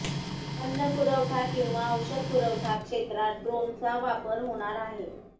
अन्नपुरवठा किंवा औषधपुरवठा क्षेत्रात ड्रोनचा वापर होणार आहे